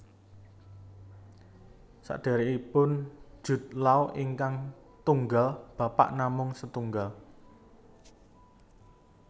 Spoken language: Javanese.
Sederekipun Jude Law ingkang tunggal bapak namung setunggal